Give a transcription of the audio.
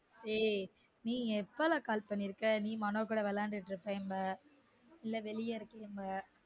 ஏய் நீ எப்பல call பண்ணிருக்க நீ மனோ கூட விளையாண்டுட்டு இருபிப்ங்கோ இல்ல வெளிய இருபிப்ங்கோ